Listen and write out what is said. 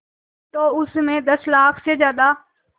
तो उस में दस लाख से ज़्यादा